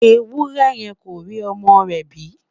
ewúrẹ yẹ kó rí ọmọ rè bi